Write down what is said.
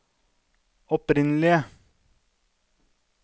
opprinnelige